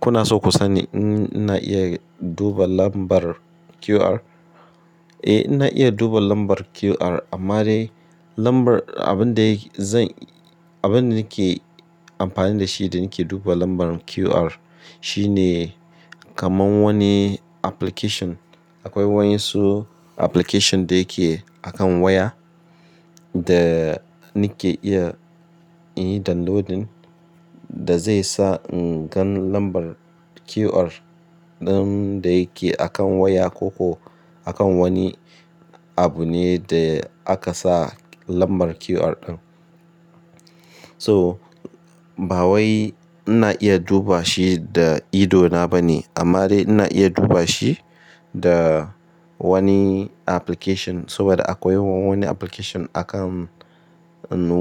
Kuna so ku sani in ina iya duba lambar QR? Eh, ina iya duba lambar QR amma dai lambar abin da zan-- abin da nake amfani da shi da nake duba lambar QR shine kaman wani application. Akwai waƴan su application da yake akan waya. Da ni ke iya yi downloadin da zai sa in gan lambar QR ɗin da yake akan waya ko ko akan wani abu ne da aka sa lambar QR ɗin. To, ba wai ina iya duba shi da ido na ba ne amma dai ina iya duba shi da. Wani application saboda akwai wani application a kan